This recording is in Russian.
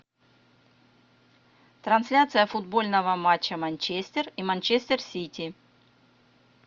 трансляция футбольного матча манчестер и манчестер сити